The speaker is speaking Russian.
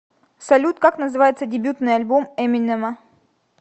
салют как называется дебютный альбом эминема